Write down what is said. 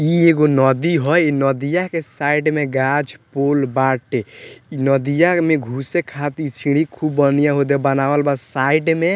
इ एगो नदी ह | इ नदीया के साइड में गाछ पूल बाटे | इ नदीया में घुसे खातिर सीढ़ी खूब बढ़िया ओदे बनावल बा साइड में |